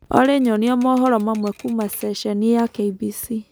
olly nyonĩa mohoro mamwe kũũma sesheni ya K.B.C